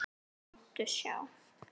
Það muntu sjá.